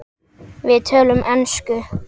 Við töluðum ensku.